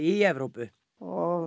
í Evrópu og